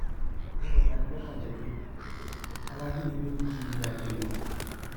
ó lọ bá ní lọkàn jẹ pé àwọn ajínigbé ń jí orí adé lọ